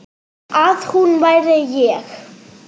Að hún væri ég.